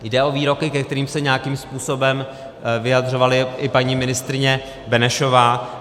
Jde o výroky, ke kterým se nějakým způsobem vyjadřovala i paní ministryně Benešová.